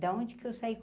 Da onde que eu saí?